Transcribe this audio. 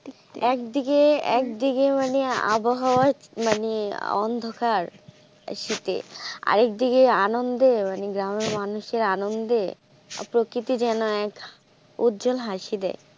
এক দিকে এক দিকে মানে আবহাওয়ায় মানে অন্ধকার এই শীতে আর দিকে আনন্দে মানে গ্রামের মানুষের আনন্দে প্রকৃতি যেন এক উৎজল হাসি দেয়.